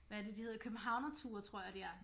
Hvad er det de hedder Københavnerture tror jeg de er